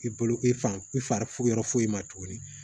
I bolo i fan i fari yɔrɔ foyi ma tuguni